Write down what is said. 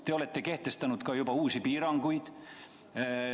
Te olete kehtestanud ka uusi piiranguid.